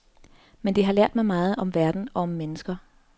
Men det har lært mig meget om verden og om mennesker.